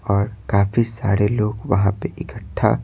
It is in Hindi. और काफी सारे लोग वहां पे इकट्ठा--